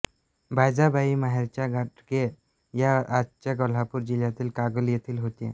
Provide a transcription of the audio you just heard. बायजाबाई माहेरच्या घाटगे या आजच्या कोल्हापूर जिल्ह्यातील कागल येथील होत्या